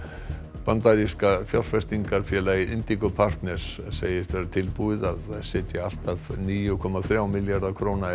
bandaríska fjárfestingarfélagið partners segist vera tilbúið að setja allt að níu komma þrjá milljarða króna í